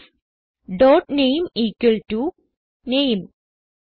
this dot name equal to name